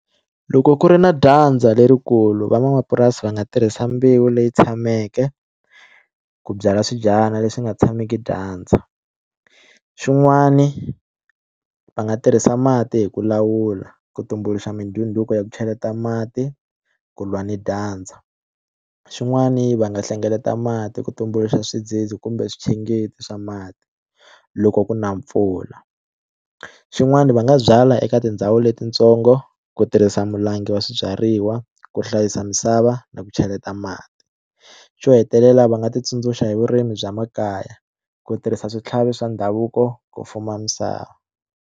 Loko ku ri na dyandza lerikulu van'wamapurasi va nga tirhisa mbewu leyi tshameke ku byala swibyariwa leswi nga tshameki dyandza xin'wani va nga tirhisa mati hi ku lawula ku tumbuluxa mindhunduko ya ku cheleta mati ku lwa ni dyandza xin'wani va nga hlengeleta mati ku tumbuluxa swidzidzi kumbe swa mati loko ku na mpfula xin'wana va nga byala eka tindhawu letitsongo ku tirhisa mulangi wa swibyariwa ku hlayisa misava na ku cheleta mati xo hetelela va nga ti tsundzuxa hi vurimi bya makaya ku tirhisa switlhavi swa ndhavuko ku fuma misava.